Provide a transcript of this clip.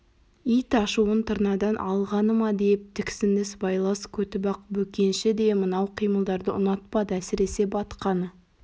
ит ашуын тырнадан алғаны ма деп тіксінді сыбайлас көтібақ бөкенші де мынау қимылдарды ұнатпады әсіресе батқаны